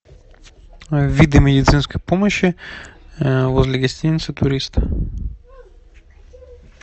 виды медицинской помощи возле гостиницы турист